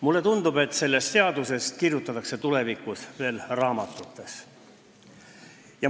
Mulle tundub, et sellest seadusest kirjutatakse tulevikus ka raamatutes.